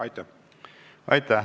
Aitäh!